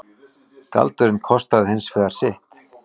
Galdurinn kostaði hins vegar sitt.